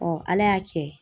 Ala y'a kɛ